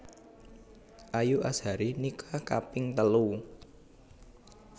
Ayu Azhari nikah kaping telu